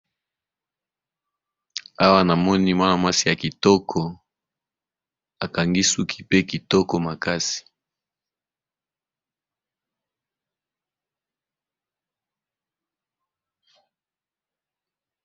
awa na moni mwana mwasi ya kitoko akangi suki pe kitoko makasi